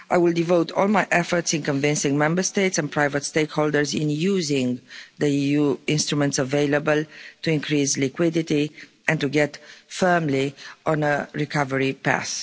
I will devote all my efforts in convincing Member States and private stakeholders in using the EU instruments available, to increase liquidity and to get firmly on a recovery path.